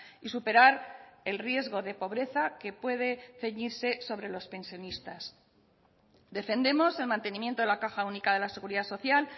y superar el riesgo de pobreza que puede ceñirse sobre los pensionistas defendemos el mantenimiento de la caja única de la seguridad social